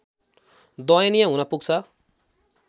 दयनीय हुन पुग्छ